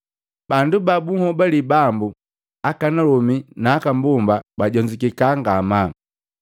Bandu ba bunhobali Bambu, akanalomi na aka mbomba bajonzukika ngamaa.